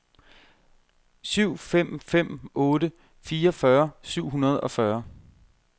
syv fem fem otte fireogfyrre syv hundrede og fyrre